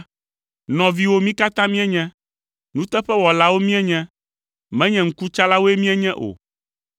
nɔviwo mí katã míenye. Nuteƒewɔlawo míenye. Menye ŋkutsalawoe míenye o!”